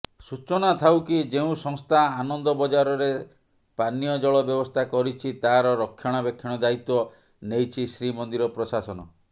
ସୂଚନାଥାଉକି ଯେଉଁ ସଂସ୍ଥା ଆନନ୍ଦବଜାରରେ ପାନୀୟ ଜଳ ବ୍ୟବସ୍ଥା କରିଛି ତାର ରକ୍ଷଣାବେକ୍ଷଣ ଦାୟିତ୍ବ ନେଇଛି ଶ୍ରୀମନ୍ଦିର ପ୍ରଶାସନ